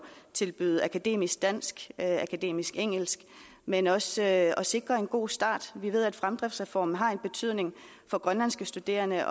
tilbyde akademisk dansk akademisk engelsk men også at sikre en god start vi ved at fremdriftsreformen har en betydning for grønlandske studerende